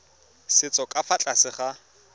setso ka fa tlase ga